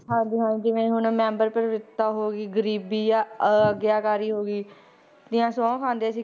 ਹਾਂਜੀ ਹਾਂਜੀ ਜਿਵੇਂ ਹੁਣ ਮੈਂਬਰ ਪਵਿੱਤਰਤਾ ਹੋ ਗਈ, ਗਰੀਬੀ ਜਾਂ ਆਗਿਆਕਾਰੀ ਹੋ ਗਈ, ਦੀਆਂ ਸਹੁੰ ਖਾਂਦੇ ਸੀ,